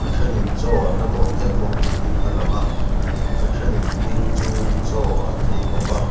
thenin chaw an la dawh mek bawk niin alang a a thenin ding chungin chaw an ei bawk a.